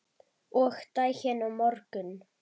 Og daginn á morgun.